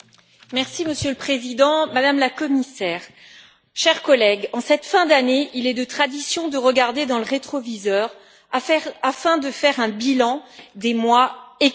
Monsieur le Président, Madame la Commissaire, chers collègues, en cette fin d'année, il est de tradition de regarder dans le rétroviseur afin de faire un bilan des mois écoulés.